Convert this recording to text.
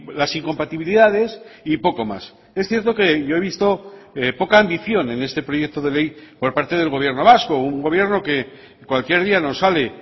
las incompatibilidades y poco más es cierto que yo he visto poca ambición en este proyecto de ley por parte del gobierno vasco un gobierno que cualquier día nos sale